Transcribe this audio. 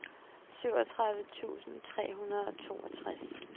syvogtredive tusind tre hundrede og toogtres